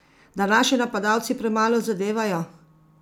Da naši napadalci premalo zadevajo?